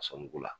A sɔn mugu la